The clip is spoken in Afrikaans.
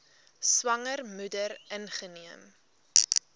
swanger moeder ingeneem